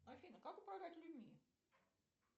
афина как управлять людьми